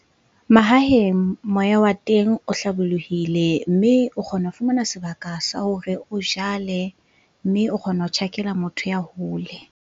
Mahaheng moya wa teng o hlabolohile. Mme o kgona ho fumana sebaka sa hore o jale mme o kgona ho tjhakela motho ya hole.